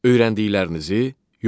Öyrəndiklərinizi yoxlayın.